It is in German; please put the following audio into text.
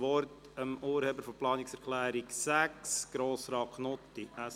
Wir kommen zu den Planungserklärungen 6 und 6a.